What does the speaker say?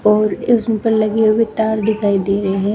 और इसमें उपर लगे हुए तार दिखाई दे रहे हैं।